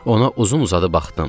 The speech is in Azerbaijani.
Ona uzun-uzadı baxdım.